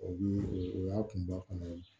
O bi o y'a kunba fana ye